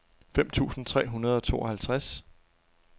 fem tusind tre hundrede og tooghalvtreds